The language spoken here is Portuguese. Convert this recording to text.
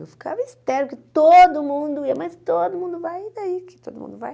Eu ficava estéril, que todo mundo ia, mas todo mundo vai, e daí que todo mundo vai?